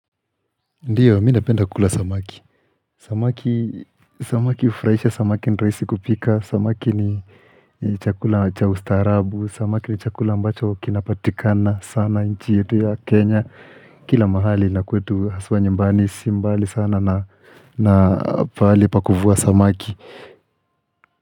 Ndiyo, mi napenda kukula samaki. Samaki hufurahisha samaki nirahisi kupika, samaki ni chakula cha ustarabu, samaki ni chakula ambacho kinapatikana sana nchi yetu ya Kenya Kila mahali na kwetu haswa nyambani si mbali sana na pahali pa kuvua samaki.